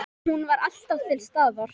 Hún var alltaf til staðar.